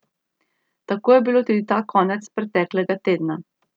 Tako je bilo tudi ta konec preteklega tedna.